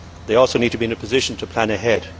They also need to be in a position to plan ahead.